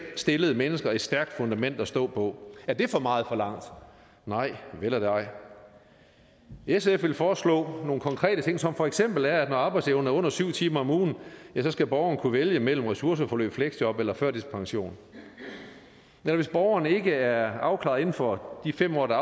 stillede mennesker et stærkt fundament at stå på er det for meget forlangt nej vel er det ej sf vil foreslå nogle konkrete ting som for eksempel at når arbejdsevnen er under syv timer om ugen skal borgeren kunne vælge imellem ressourceforløb fleksjob eller førtidspension og hvis borgeren ikke er afklaret inden for de fem år der